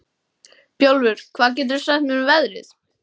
Bjólfur, hvað geturðu sagt mér um veðrið?